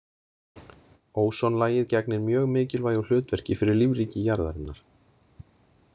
Ósonlagið gegnir mjög mikilvægu hlutverki fyrir lífríki jarðarinnar.